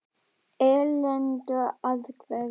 Erlendur: Af hverju?